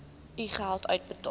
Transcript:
u geld uitbetaal